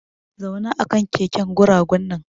Zauna akan keken guragu nan!